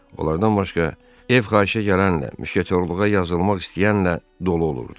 Onlardan başqa ev xahişə gələn, müşketyorluğa yazılmaq istəyən ilə dolu olurdu.